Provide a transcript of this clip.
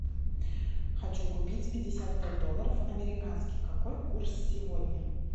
хочу купить пятьдесят пять долларов американских какой курс сегодня